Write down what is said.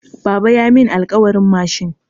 Baba ya mun alkawarin mashin.